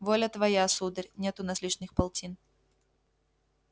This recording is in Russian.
воля твоя сударь нет у нас лишних полтин